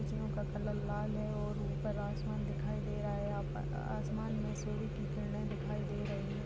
कुर्सियों का कलर लाल है और ऊपर आसमान दिखाई दे रहा है आप आसमान में सूर्य की किरणे दिखाई दे रही है।